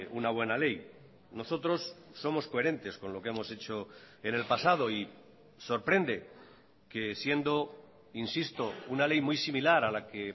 una buena ley nosotros somos coherentes con lo que hemos hecho en el pasado y sorprende que siendo insisto una ley muy similar a la que